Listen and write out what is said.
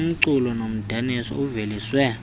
umculo nomdaniso uveliswe